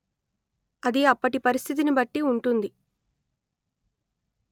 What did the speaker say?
అది అప్పటి పరిస్థితిని బట్టి ఉంటుంది